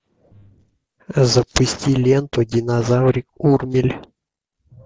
запусти ленту динозаврик урмель